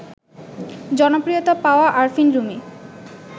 জনপ্রিয়তা পাওয়া আরফিন রুমি